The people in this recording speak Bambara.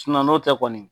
n'o tɛ kɔni